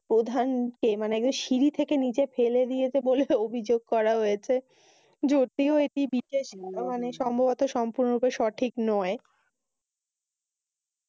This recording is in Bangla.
প্রধানকে মানি একদম সিঁড়ি থেকে নিচে পেলে দিয়েছে বলে অভিযোগ করা হয়েছে। যদিও এটি বিশেষ মানি সম্ভবত সম্পূর্ণ নয়।